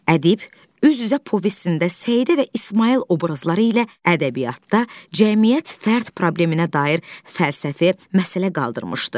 Ədib üz-üzə povestində Səidə və İsmayıl obrazları ilə ədəbiyyatda cəmiyyət fərd probleminə dair fəlsəfi məsələ qaldırmışdı.